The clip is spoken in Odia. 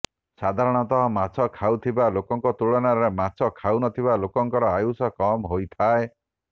ସାଧାରଣତଃ ମାଛ ଖାଉଥିବା ଲୋକଙ୍କ ତୁଳନାରେ ମାଛ ଖାଉନଥିବା ଲୋକଙ୍କର ଆୟୁଷ କମ୍ ହୋଇଥାଏ